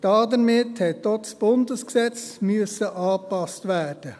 Damit musste auch das Bundesgesetz angepasst werden.